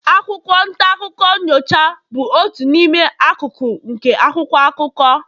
akwụkwọ nta akụkọ nyocha bụ otu n'ime akụkụ nke akwụkwọ akụkọ